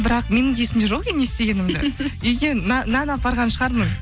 бірақ менің де есімде жоқ екен не істегенімді үйге нан апарған шығармын